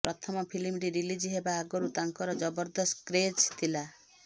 ପ୍ରଥମ ଫିଲ୍ମଟି ରିଲିଜ୍ ହେବା ଆଗରୁ ତାଙ୍କର ଜବରଦସ୍ତ କ୍ରେଜ୍ ଥିଲା